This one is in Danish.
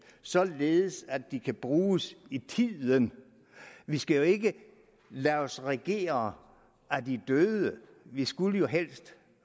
således at de kan bruges i tiden vi skal jo ikke lade os regere af de døde vi skulle helst